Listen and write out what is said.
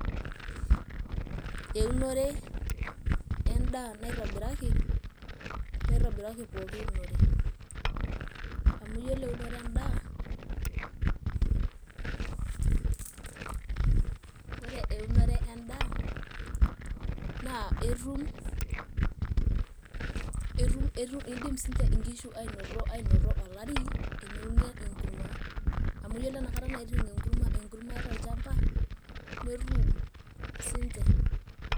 Eunore endaa naitobiraki pooki unore amu yiolo eunoto endaa eidim siinche nkishu aanoto olari teneuni enkurma, amu ore enakata naiting' enkurma tolchamba netum siinche.